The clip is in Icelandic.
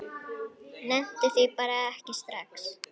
Nennti því bara ekki strax.